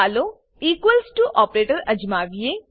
ચાલો equals to operator અજમાવીએ